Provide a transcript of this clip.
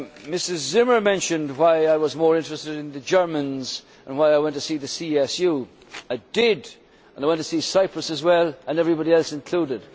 Ms Zimmer mentioned why I was more interested in the Germans and why I went to see the CSU I did, and I went to see Cyprus as well, and everybody else included.